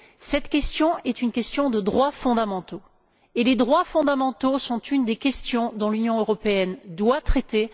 Cette question est une question de droits fondamentaux, et les droits fondamentaux sont une des questions que l'Union européenne doit traiter.